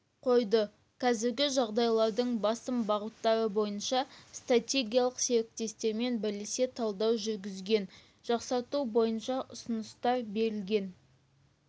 қойды қазіргі жағдайларының басым бағыттары бойынша стратегиялық серіктестермен бірлесе талдау жүргізген жақсарту бойынша ұсыныстар берілген